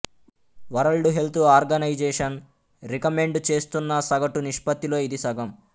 world Health Organization recommend చేస్తున్న సగటు నిష్పత్తిలో ఇది సగం